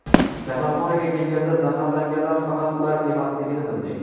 Kasalxonaga kelganda zaharlanganlar faqat ular emasligini bildik.